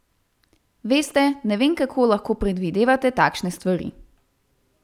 Veste, ne vem, kako lahko predvidevate takšne stvari.